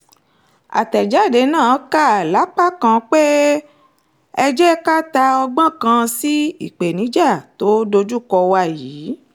àtẹ̀jáde náà kà lápá kan pé ẹ jẹ́ ká ta ọgbọ́n kan sí ìpèníjà tó dojúkọ wa yìí